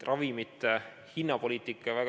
Ravimite hinnapoliitika.